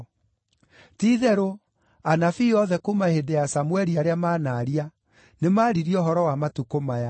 “Ti-itherũ, anabii othe kuuma hĩndĩ ya Samũeli, arĩa manaaria, nĩ maaririe ũhoro wa matukũ maya.